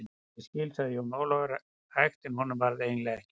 Ég skil, sagði Jón Ólafur hægt en honum varð eiginlega ekki um sel.